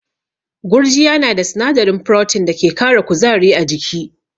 Gurjiya na da sinadarin Protein da ke kara kuzari a jiki.